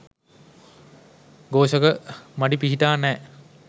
ඝෝෂක මඩි පිහිටා නෑ